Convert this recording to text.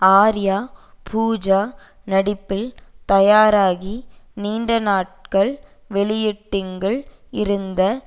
ஆர்யா பூஜா நடிப்பில் தயாராகி நீண்ட நாட்கள் வெயிட்டிங்கில் இருந்த